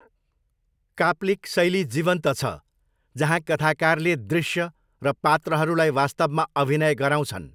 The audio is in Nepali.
काप्लिक शैली जीवन्त छ, जहाँ कथाकारले दृश्य र पात्रहरूलाई वास्तवमा अभिनय गराउँछन्।